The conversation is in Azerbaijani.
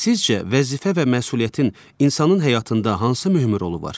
Sizcə, vəzifə və məsuliyyətin insanın həyatında hansı mühüm rolu var?